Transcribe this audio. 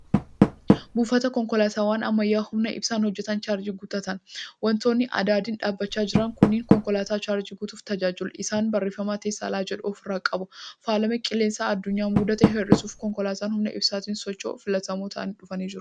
Buufata konkolaataawwan ammyyaa humna ibsaan hojjatan chaarjii itti guuttatan. Wantoonni adadiin dhaabachaa jiran kunneen konkolaataa chaarjii guutuuf tajaajilu. Isaanis barreeffama Teeslaa jedhu ofirraa qabu. Faalama qilleensaa adsunyaa mudate hir'isuuf konkolaataan humna ibsaatiin socho'u filatamoo ta'aa dhufanii jiru.